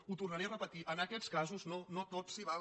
ho tornaré a repetir en aquests casos no tot s’hi val